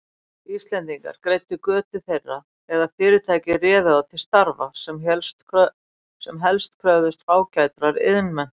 Íslendingar greiddu götu þeirra eða fyrirtæki réðu þá til starfa, sem helst kröfðust fágætrar iðnmenntunar.